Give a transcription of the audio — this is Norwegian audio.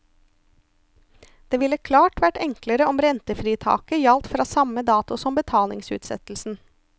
Det ville klart vært enklere om rentefritaket gjaldt fra samme dato som betalingsutsettelsen.